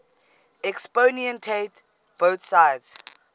exponentiate both sides